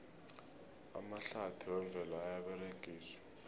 amahlathi wemvelo ayaberegiswa